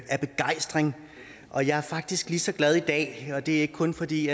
af begejstring og jeg er faktisk lige så glad i dag og det er ikke kun fordi